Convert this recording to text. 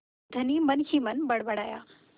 धनी मनहीमन बड़बड़ाया